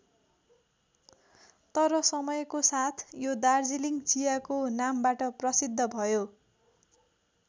तर समयको साथ यो दार्जिलिङ चियाको नामबाट प्रसिद्ध भयो।